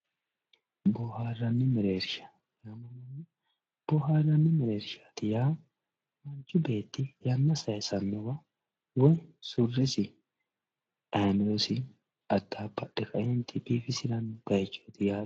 boohaarranni mereersha boohaarranni mereershaati yaa manchi beeti yanna sayiisannowa surreesi ayimirosi addaabbadhe kae biifisiranno bayiichooti yaa dandiineemmo.